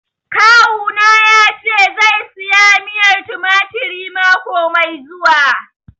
Kawu na ya ce zai saya miyar tumatir mako mai zuwa